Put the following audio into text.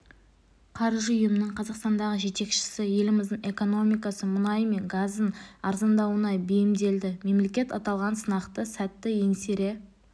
қаржы ұйымының қазақстандағы жетекшісі еліміздің экономикасы мұнай мен газдың арзандауына бейімделді мемлекет аталған сынақты сәтті еңсере